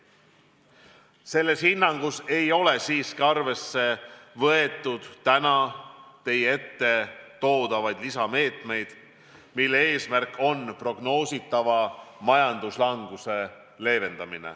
Selles hinnangus ei ole aga arvesse võetud täna teie ette toodavaid lisameetmeid, mille eesmärk on prognoositavat majanduslangust leevendada.